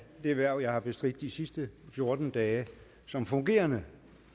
det hverv jeg har bestridt de sidste fjorten dage som fungerende